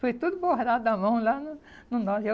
Foi tudo bordado à mão lá no no norte.